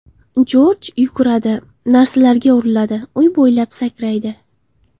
Jorj yuguradi, narsalarga uriladi, uy bo‘ylab sakraydi.